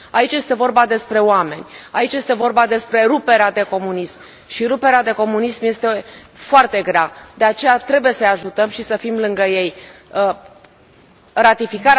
Aici este vorba despre oameni, aici este vorba despre ruperea de comunism, și ruperea de comunism este foarte grea, de aceea trebuie să i ajutăm și să fim lângă ei.